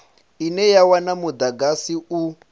ine ya wana mudagasi u